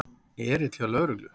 Erill hjá lögreglu